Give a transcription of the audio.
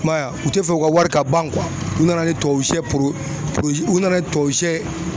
I maye a, u tɛ fɛ u ka wari ka ban u nana ni tubabu shɛ u nana tubabu shɛ